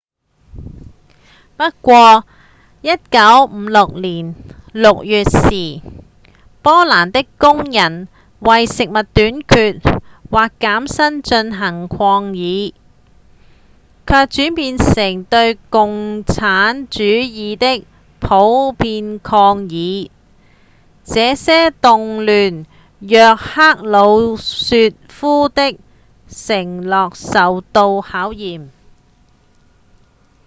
不過1956年6月時波蘭的工人為食物短缺和減薪進行抗議卻轉變成對共產主義的普遍抗議這些動亂讓赫魯雪夫的承諾受到考驗